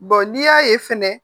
n'i y'a ye fɛnɛ